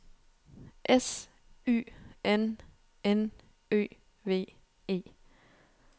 S Y N N Ø V E